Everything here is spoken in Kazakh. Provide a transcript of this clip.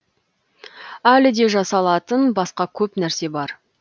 әлі де жасалатын басқа көп нәрсе бар